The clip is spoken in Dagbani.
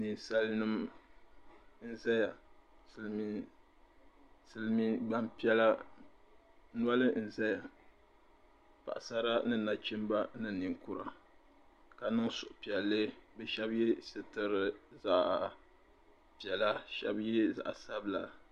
Ninsali nim n zaya silmiin gbanpiɛla noli n zaya paɣasara ni nachimba ni ninkura ka niŋ suhupiɛlli bi shɛba yɛ sitira zaɣa piɛla shɛba yɛ zaɣa sabila.